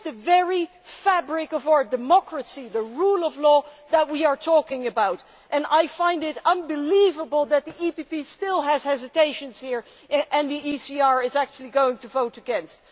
This is the very fabric of our democracy the rule of law that we are talking about, and I find it unbelievable that the EPP still has hesitations here and that the ECR is actually going to vote against.